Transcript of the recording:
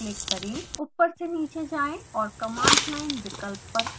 ऊपर से नीचे जाएँ और command line विकल्प पर क्लिक करें